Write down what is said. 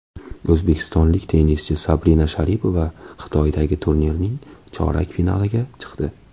O‘zbekistonlik tennischi Sabina Sharipova Xitoydagi turnirning chorak finaliga chiqdi.